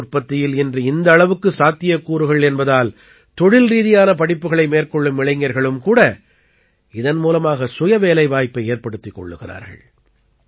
தேன் உற்பத்தியில் இன்று இந்த அளவுக்கு சாத்தியக்கூறுகள் என்பதால் தொழில்ரீதியான படிப்புகளை மேற்கொள்ளும் இளைஞர்களும் கூட இதன் மூலமாக சுயவேலைவாய்ப்பை ஏற்படுத்திக் கொள்கிறார்கள்